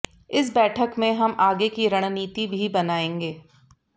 इस बैठक में हम आगे की रणनीति भी बनाएंगे